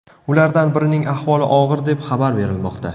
Ulardan birining ahvoli og‘ir deb xabar berilmoqda.